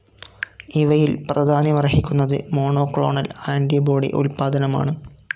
ഇവയിൽ പ്രാധാന്യമർഹിക്കുന്നത് monoclonal antibody ഉൽപാദനമാണ്.